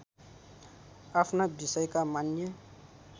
आफ्ना विषयका मान्य